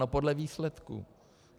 No podle výsledků.